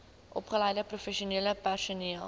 opgeleide professionele personeel